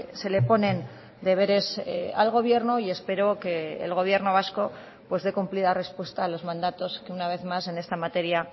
se le ponen deberes al gobierno y espero que el gobierno vasco pues dé cumplida respuesta a los mandatos que una vez más en esta materia